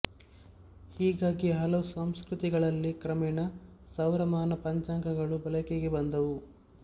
ಹೀಗಾಗಿ ಹಲವು ಸಂಸ್ಕೃತಿಗಳಲ್ಲಿ ಕ್ರಮೇಣ ಸೌರಮಾನ ಪಂಚಾಂಗಗಳು ಬಳಕೆಗೆ ಬಂದವು